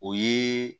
O ye